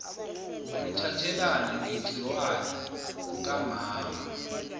ukuthathelana ngegciwane kukamama